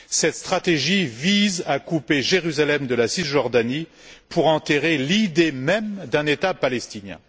Cette stratégie vise à couper Jérusalem de la Cisjordanie pour enterrer l'idée même d'un État palestinien.